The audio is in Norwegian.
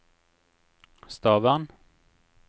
Stavern